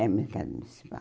É o Mercado Municipal.